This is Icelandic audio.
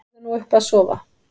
Farðu nú upp að sofa.